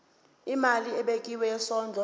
imali ebekiwe yesondlo